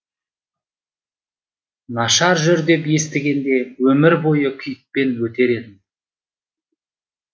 нашар жүр деп естігенде өмір бойы күйікпен өтер едім